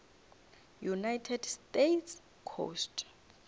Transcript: united states coast